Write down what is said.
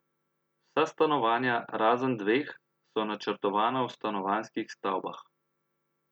Vsa stanovanja, razen dveh, so načrtovana v stanovanjskih stavbah.